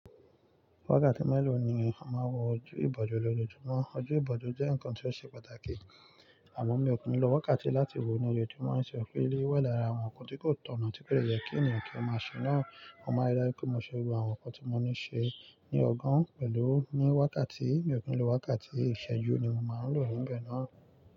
Wákàtí mélòó ni o máa ń wọ ojú ìbòjú lójoojúmọ́? Ojú ìbòjú jẹ́ ǹkan tí ó ṣe pàtàkì. Àmo mi ò kí n lo wákàtí láti wò ó ní ojoojúmọ́, ṣe ò mo pe eleyii wa lára àwọn ǹkan tí kò tọ̀nà tí kò yẹ kí ènìyàn kí ó má ṣe náà? Mo máa rí dájú pé mo ṣe gbogbo àwọn ǹkan tí mo ní ṣe ní ọ̀gàn pẹ̀lú ní wákàtí, mi ò kí n lo wákàtí, ìṣẹ́jú ni mo máa ń lò níbẹ̀ náà.